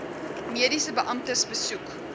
mediese beamptes besoek